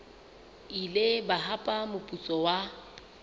ile ba hapa moputso wa